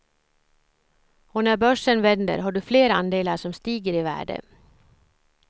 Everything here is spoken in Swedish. Och när börsen vänder har du fler andelar som stiger i värde.